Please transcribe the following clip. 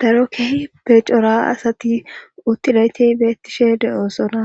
Daro kehi be cora asati uttilayti beettishe de'oosona